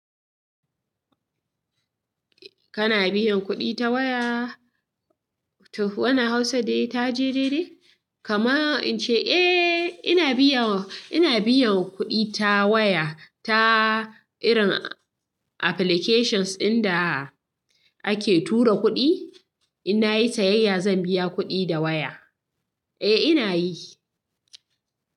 Kana biyan kuɗi ta waya? Wannan Hausa da taje daidai? Kama in ce, eh, ina biyan, ina biyan kuɗi ta waya ta irin applications inda ake tura kuɗi. In na yi sayayya, zan biya kuɗi da waya. Eh, ina yi.